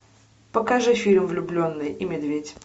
покажи фильм влюбленный и медведь